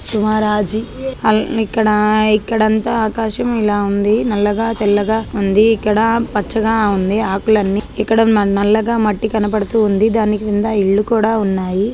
ఇక్కడ ఇక్కడంతా ఆకాశం ఇలా ఉంది నల్లగా తెల్లగా ఉంది ఇక్కడ పచ్చగా ఉంది ఆకులన్నీ ఇక్కడ నల్లగా మట్టి కనబడుతూ ఉంది దాని కింద ఇళ్లు కూడ ఉన్నాయి.